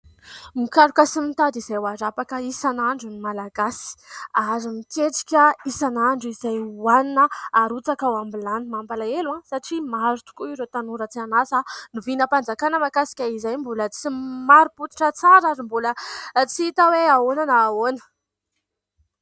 Mokaloka sy mitady izay hoarapaka isana andro ny malagasy ary miketrika isan'andro izay ho anina arotsaka ao ambilany. Mampalahelo aho satria maro tokoa ireo tanora tsy hanasa, novianampanjakana makasy ka izay mbola tsy maro-potitra tsara, ary mbola tsy hita hoe ahoana na ahoana.